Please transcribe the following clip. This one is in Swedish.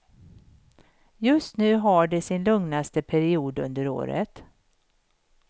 Just nu har de sin lugnaste period under året.